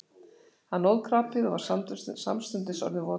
Hann óð krapið og var samstundis orðinn votur.